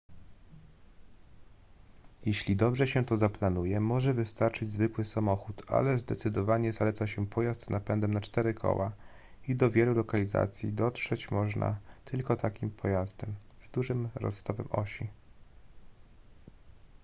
jeśli dobrze się to zaplanuje może wystarczyć zwykły samochód ale zdecydowanie zaleca się pojazd z napędem na cztery koła i do wielu lokalizacji dotrzeć można tylko takim pojazdem z dużym rozstawem osi